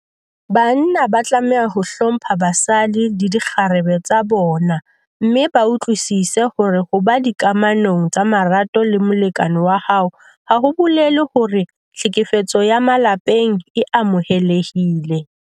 Banna ba tlameha ho hlompha basadi le dikgarebe tsa bona mme ba utlwisise hore ho ba dikamanong tsa marato le molekane wa hao ha ho bolele hore tlhekefetso ya ka malapeng e amohelehile.